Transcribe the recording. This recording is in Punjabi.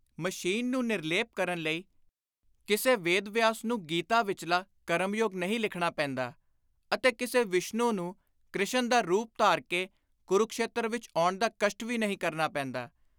ਮਸ਼ੀਨ ਨੂੰ ਨਿਰਲੇਪ ਕਰਨ ਲਈ ਕਿਸੇ ਵੇਦ ਵਿਆਸ ਨੂੰ ਗੀਤਾ ਵਿਚਲਾ ਕਰਮਯੋਗ ਨਹੀਂ ਲਿਖਣਾ ਪੈਂਦਾ ਅਤੇ ਕਿਸੇ ਵਿਸ਼ਨੂੰ ਨੂੰ ਕ੍ਰਿਸ਼ਨ ਦਾ ਰੁਪ ਧਾਰ ਕੇ ਕੁਰੁਕਸ਼ੇਤਰ ਵਿਚ ਆਉਣ ਦਾ ਕਸ਼ਟ ਵੀ ਨਹੀਂ ਕਰਨਾ ਪੈਂਦਾ।